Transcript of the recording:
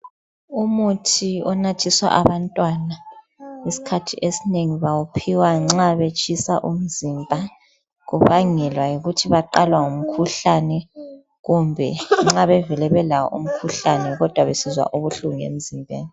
umuthi onathiswa abantwana isikhathi esinengi bawuphiwa nxa betshisa umzimba kubangelwa ukuthi baqalwa ngumkhuhlane kumbe nxa bevele belawo umkhuhlane kodwa besizwa ubuhlungu emzimbeni